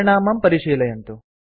परिणामं परिशीलयन्तु